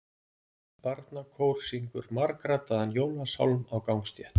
Barnakór syngur margraddaðan jólasálm á gangstétt.